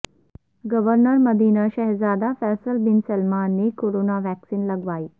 governor Medina شہزادہ Faisal bin Salman نے corona vaccine لگوالی